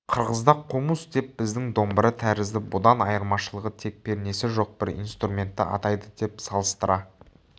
қырғызда қомұс деп біздің домбыра тәрізді бұдан айырмашылығы тек пернесі жоқ бір инструментті атайды деп салыстыра